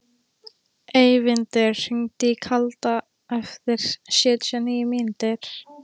Eyvindur, hringdu í Kalda eftir sjötíu og níu mínútur.